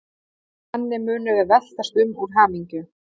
Og þannig munum við veltast um úr hamingju.